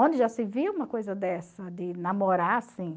Onde já se viu uma coisa dessa, de namorar assim?